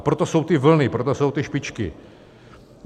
A proto jsou ty vlny, proto jsou ty špičky.